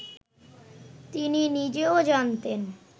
তিনি নিজেও জানতেন